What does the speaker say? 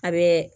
A bɛ